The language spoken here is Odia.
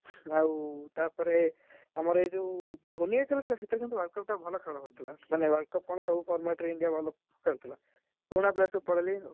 ଆଉ ତା ପରେ ଆମର ଏ ଯୋଉ ଧୋନୀ ଏଇଥରଖେଳୁଛି, ସେଥର କିନ୍ତୁ World Cup ଟା ଭଲ ଖେଳ ହଉଥିଲା, ମାନେ World Cup କଣସବୁ format ରେ ଇଣ୍ଡିଆ ଭଲ ଖେଳୁ ଥିଲା। ପୁରୁଣା player ସବୁ ପଳେଇଲେଣି ଆଉ।